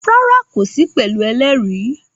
Rárá, kò sí pẹ̀lú ẹlẹ́rìí